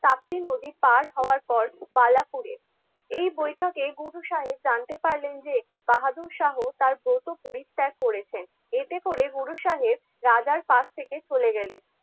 তাপ্তি নদী পার হওয়ার পর বালাপুরে. এই বৈঠকে গুরু সাহেব জানতে পারলেন যে বাহাদুর শাহ তার ব্রত পরিত্যাগ করেছেন. এতে করে গুরু সাহেব রাজার পাশ থেকে চলে গেলেন.